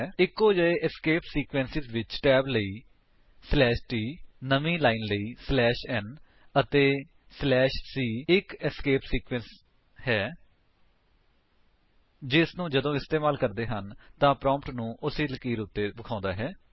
ਇੱਕੋ ਜਿਹੇ escape sequences ਵਿੱਚ ਟੈਬ ਲਈ t ਨਵੀਂ ਲਾਇਨ ਲਈ n ਅਤੇ c ਇੱਕ ਏਸਕੇਪ ਸੀਕਵੇਂਸ ਹੈ ਜਿਸਨੂੰ ਜਦੋਂ ਇਸਤੇਮਾਲ ਕਰਦੇ ਹਨ ਤਾਂ ਪ੍ਰੋਂਪਟ ਨੂੰ ਉਸੀ ਲਕੀਰ ਉੱਤੇ ਦਿਖਾਉਂਦਾ ਹੈ